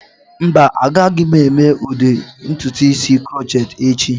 Mba, agaghị m eme ụdị ntutu isi crochet echi.